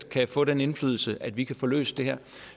kan få den indflydelse at vi kan få løst det her